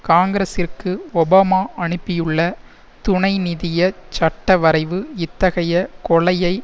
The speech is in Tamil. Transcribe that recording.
காங்கிரஸிற்கு ஒபாமா அனுப்பியுள்ள துணை நிதிய சட்டவரைவு இத்தகைய கொலையை